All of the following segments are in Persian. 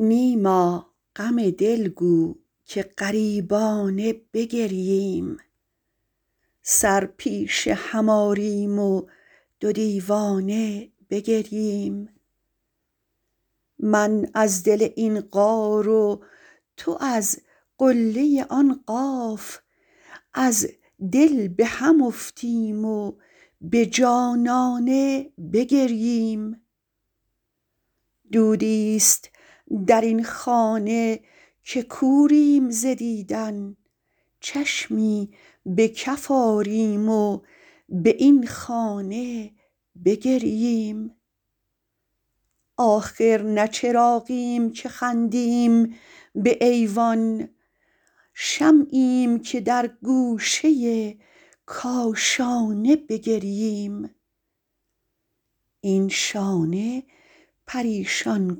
نیما غم دل گو که غریبانه بگرییم سر پیش هم آریم و دو دیوانه بگرییم من از دل این غار و تو از قله آن قاف از دل به هم افتیم و به جانانه بگرییم دودی ست در این خانه که کوریم ز دیدن چشمی به کف آریم و به این خانه بگرییم آخر نه چراغیم که خندیم به ایوان شمعیم که در گوشه کاشانه بگرییم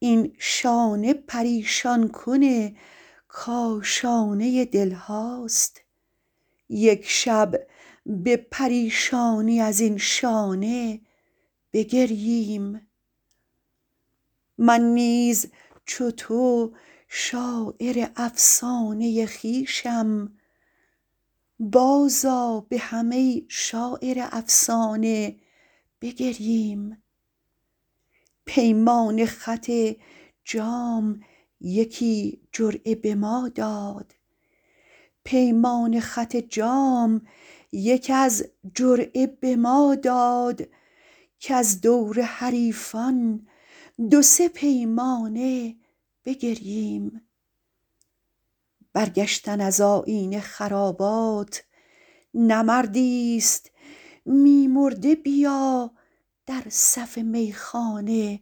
این شانه پریشان کن کاشانه دل هاست یک شب به پریشانی از این شانه بگرییم من نیز چو تو شاعر افسانه خویشم بازآ به هم ای شاعر افسانه بگرییم پیمان خط جام یکی جرعه به ما داد کز دور حریفان دو سه پیمانه بگرییم برگشتن از آیین خرابات نه مردی ست می مرده بیا در صف میخانه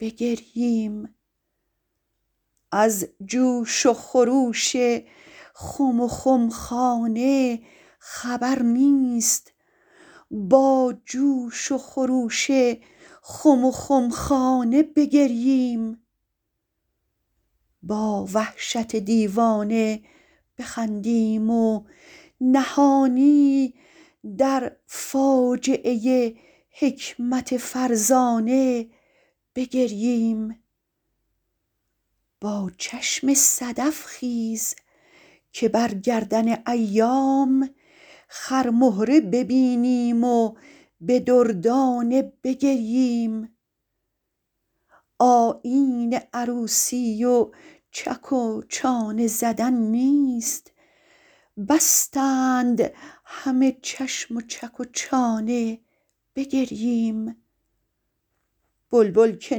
بگرییم از جوش و خروش خم وخمخانه خبر نیست با جوش و خروش خم و خمخانه بگرییم با وحشت دیوانه بخندیم و نهانی در فاجعه حکمت فرزانه بگرییم با چشم صدف خیز که بر گردن ایام خرمهره ببینیم و به دردانه بگرییم آیین عروسی و چک و چانه زدن نیست بستند همه چشم و چک و چانه بگرییم بلبل که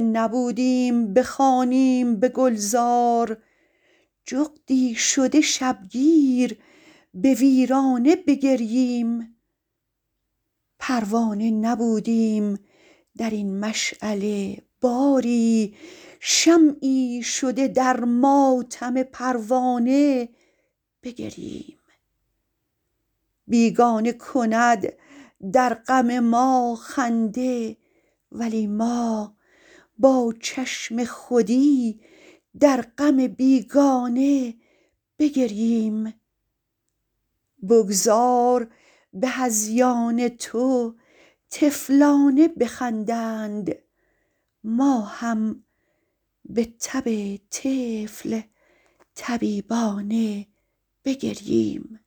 نبودیم بخوانیم به گلزار جغدی شده شبگیر به ویرانه بگرییم پروانه نبودیم در این مشعله باری شمعی شده در ماتم پروانه بگرییم بیگانه کند در غم ما خنده ولی ما با چشم خودی در غم بیگانه بگرییم بگذار به هذیان تو طفلانه بخندند ما هم به تب طفل طبیبانه بگرییم